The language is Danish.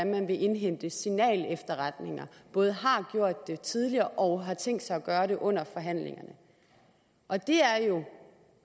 man vil indhente signalefterretninger både har gjort det tidligere og har tænkt sig at gøre det under forhandlingerne og det er jo